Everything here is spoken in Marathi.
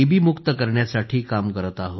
मुक्त करण्यासाठी काम करत आहोत